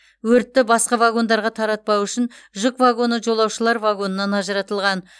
өртті басқа вагондарға таратпау үшін жүк вагоны жолаушылар вагонынан ажыратылған